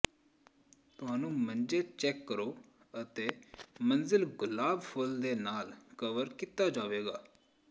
ਤੁਹਾਨੂੰ ਮੰਜੇ ਚੈੱਕ ਕਰੋ ਅਤੇ ਮੰਜ਼ਿਲ ਗੁਲਾਬ ਫੁੱਲ ਦੇ ਨਾਲ ਕਵਰ ਕੀਤਾ ਜਾਵੇਗਾ